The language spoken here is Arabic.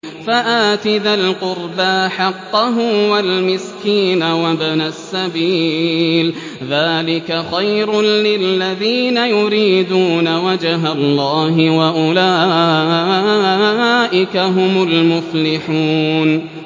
فَآتِ ذَا الْقُرْبَىٰ حَقَّهُ وَالْمِسْكِينَ وَابْنَ السَّبِيلِ ۚ ذَٰلِكَ خَيْرٌ لِّلَّذِينَ يُرِيدُونَ وَجْهَ اللَّهِ ۖ وَأُولَٰئِكَ هُمُ الْمُفْلِحُونَ